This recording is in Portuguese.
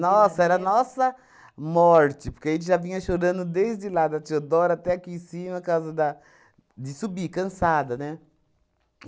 era nossa morte, porque a gente já vinha chorando desde lá da Teodoro até aqui em cima, causa da de subir, cansada, né?